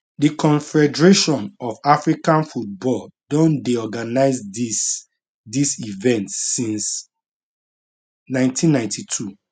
di confederation of african football don dey organise dis dis event since 1992